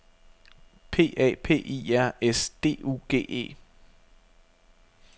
P A P I R S D U G E